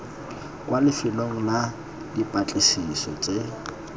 kwa lefelong la dipatlisiso tse